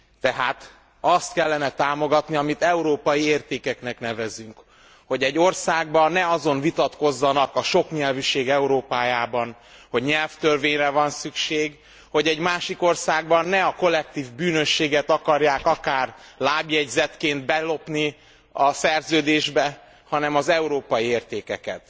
Tehát azt kellene támogatni, amit európai értékeknek nevezünk, hogy egy országban ne azon vitatkozzanak a soknyelvűség Európájában hogy nyelvtörvényre van szükség, hogy egy másik országban ne a kollektív bűnösséget akarják akár lábjegyzetként belopni a szerződésbe, hanem az európai értékeket.